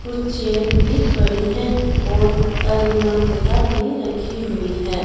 कुछ चेयर भी पड़ी है और अलमीरा भी रखी हुई हैं।